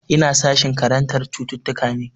Ina sashin karantar cututtuka ne.